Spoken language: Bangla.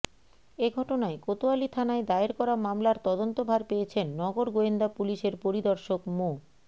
এ ঘটনায় কোতোয়ালী থানায় দায়ের করা মামলার তদন্তভার পেয়েছেন নগর গোয়েন্দা পুলিশের পরিদর্শক মো